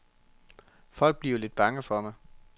Folk bliver lidt bange for mig.